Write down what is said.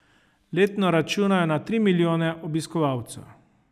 Letno računajo na tri milijone obiskovalcev.